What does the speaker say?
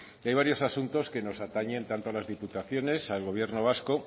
hay varios asuntos que nos atañen tanto a las diputaciones al gobierno vasco